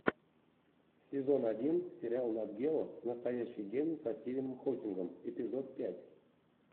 сезон один сериал нат гео настоящий гений со стивеном хокингом эпизод пять